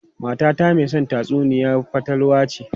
Matata mai son tatsuniyar fatalwa ce.